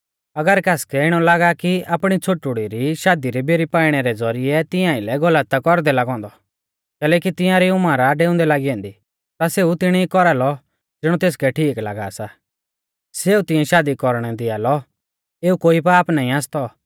अगर कासकै इणौ लागा कि आपणी छ़ोटुड़ी री शादी दी बेरी पाइणै रै ज़ौरिऐ तिंया आइलै गलत आ कौरदै लागौ औन्दौ कैलैकि तियांरी उमर आ डेउंदै लागी ऐन्दी ता सेऊ तिणी कौरालौ ज़िणौ तेसकै ठीक लागा सा सेऊ तिंऐ शादी कौरणै दिया लौ एऊ कोई पाप नाईं आसतौ